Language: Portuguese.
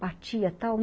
Batia, tal.